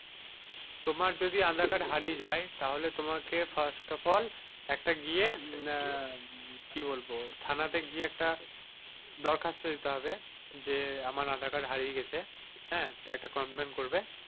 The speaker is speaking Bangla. তোমার যদি আধার কার্ড হারিয়ে যাই তাহলে তোমাকে first of all একটা গিয়ে আহ মানে কি বলবো থানা তে গিয়ে একটা দরখাস্ত দিতে হবে যে, আমার আধার কার্ড হারিয়ে গিয়েছে হাঁ একটা complain করবে।